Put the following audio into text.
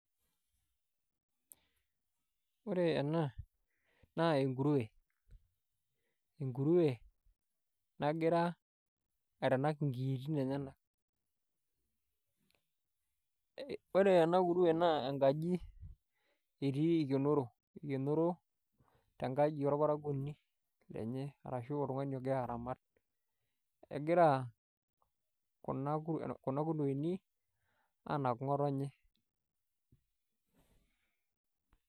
Ore ena naa enkurue nagira aitanak inkiitin enyenak ore ena kurue naa enkaji etii eikenoro tenkaji orparakuoni lenye arashuu oltung'ani ogira aramat egira kuna kurueni aanak ngo'otonye .